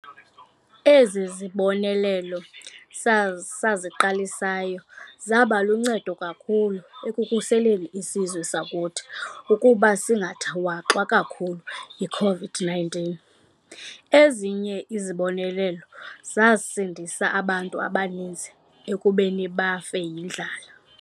Ezi zibonelelo saziqalisayo zaba luncedo kakhulu ekukhuseleni isizwe sakuthi ukuba singathwaxwa kakhulu yi-COVID-19. Ezinye izibonelelo zasindisa abantu abaninzi ekubeni bafe yindlala.